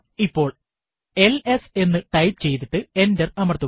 ഇപ്പോൾ എൽഎസ് എന്ന് ടൈപ്പ് ചെയ്തിട്ട് എന്റർ അമർത്തുക